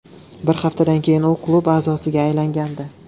Bir haftadan keyin u klub a’zosiga aylangandi.